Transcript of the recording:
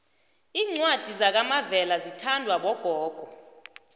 iincwadi zakamavela zithandwa bogogo